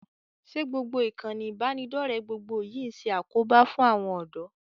Ṣé ìkànnì ìbánidọ́ọ̀rẹ́ gbogbo yìí ń ṣe àkóbá fún àwọn ọ̀dọ́?